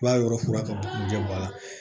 I b'a yɔrɔ fura ka bɔ a la